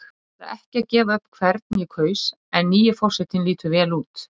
Ég ætla ekki að gefa upp hvern ég kaus en nýi forsetinn lítur vel út.